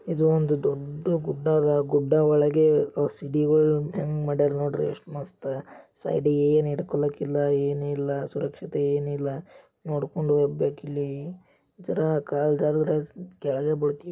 ಇದು ಒಂದು ದೊಡ್ಡ ಗುಡ್ಡ ಅದ ಗುಡ್ಡ ಒಳಗೆ ಸಿಡಿಗಳ್ ಹೆಂಗ್ ಮಾಡ್ಯಾರ್ ನೋಡ್ರಿ ಎಷ್ಟ್ ಮಸ್ತ್ ಸೈಡಿಗೆ ಏನ್ ಹಿಡ್ಕೊಳೋಕೆ ಇಲ್ಲ ಏನಿಲ್ಲ ಸುರಕ್ಷತೆ ಏನಿಲ್ಲ ನೋಡ್ಕೊಂಡ್ ಹೋಗ್ಬೇಕಿಲ್ಲಿ ಜನ ಕಾಲ್ ಜಾರಿದ್ರೆ ಕೆಳಗೆ ಬೀಳ್ತಿವ್ --